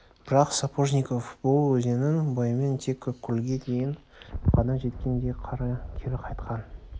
бірақ сапожников бұл өзеннің бойымен тек ақкөлге дейін ғана жеткен де кері қайтқан